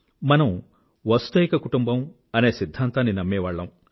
మనం వసుదైక కుటుంబం అనే సిధ్ధాంతాన్ని నమ్మేవారిమి